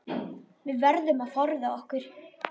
Við verðum að forða okkur.